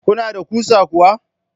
Kuna da kusa kuwa?